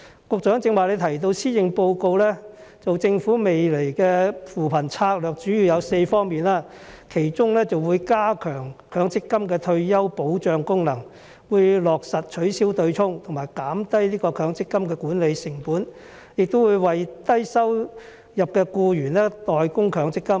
局長剛才提到施政報告，當中指出政府未來的扶貧策略主要有4方面，包括加強強積金的退休保障功能、落實取消"對沖"和減低強積金的管理成本、會為低收入的僱員代供強積金。